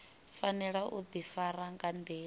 fanela u difara nga ndila